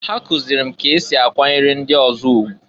Ha kụzịlị m k'esi akwanyere ndị ọzọ ugwu.